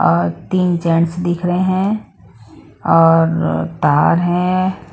और तीन जेंट्स दिख रहे है और तार है।